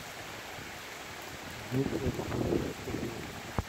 дмитрий александрович козлов